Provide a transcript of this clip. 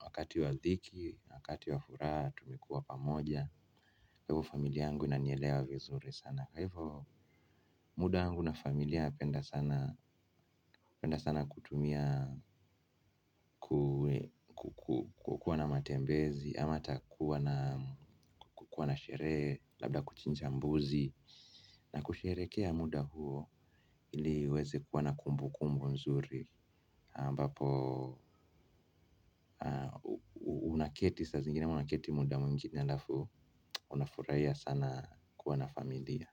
wakati wa dhiki na wakati wa furaha tumekuwa pamoja. Hivo familia yangu inanielewa vizuri sana kwa hivo muda wangu na familia napenda sana kutumia kukuwa na matembezi. Ama hata kuwa na kukuwa na sheree labda kuchinja mbuzi. Na kusherekea muda huo ili uweze kuwa na kumbukumbu nzuri ambapo unaketi sa zingine ama unaketi muda mwingine alafu unafuraia sana kuwa na familia.